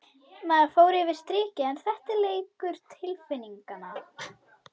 Maður fór yfir strikið en þetta er leikur tilfinninga.